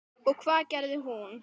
Og hvað gerði hún?